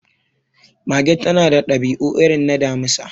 Mage ta na da dabi'u irin na Damisa